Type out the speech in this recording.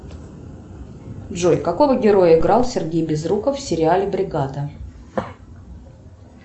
джой какого героя играл сергей безруков в сериале бригада